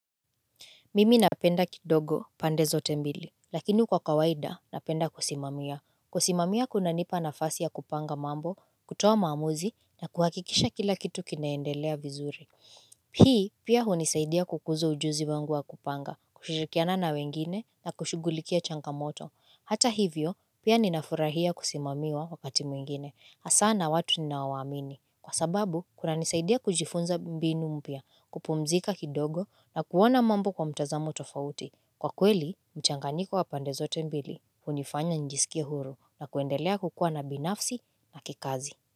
Mimi napenda kidogo pande zote mbili, lakini kwa kawaida napenda kusimamia. Kusimamia kunanipa nafasi ya kupanga mambo, kutoa maamuzi, na kuhakikisha kila kitu kinaendelea vizuri. Hii, pia hunisaidia kukuza ujuzi wangu wa kupanga, kushirikiana na wengine, na kushughulikia changamoto. Hata hivyo, pia ninafurahia kusimamiwa wakati mwengine. Hasa na watu ninaowaamini. Kwa sababu, kunanisaidia kujifunza mbinu mpya, kupumzika kidogo na kuona mambo kwa mtazamo tofauti. Kwa kweli, mchanganyiko wa pande zote mbili, hunifanya njisikia huru na kuendelea kukua na binafsi na kikazi.